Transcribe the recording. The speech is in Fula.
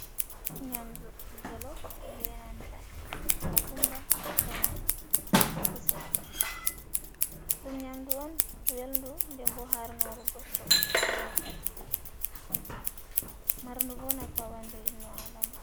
Nyamdu jolof benanta kokumba ena kusel, ɗum nyamdu on welndu ndembo harnoru goddo, dor wakkati marndu bo nafu ha ɓandu innuadama.